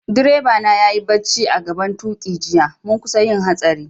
Direba na ya yi barci a'gaban tuki jiya, mun kusa yin hatsari.